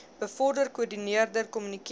bevorder koördineer kommunikeer